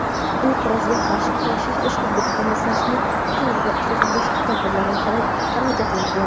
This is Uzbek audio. Inqirozga qarshi kurashish respublika komissiyasining qaroriga asosan boshqa tadbirlar va xarajatlarga.